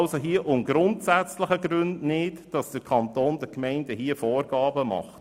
Hier geht es aus grundsätzlichen Gründen nicht, dass der Kanton den Gemeinden Vorgaben macht.